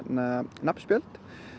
nafnspjöld